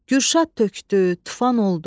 Gürşad tökdü, tufan oldu,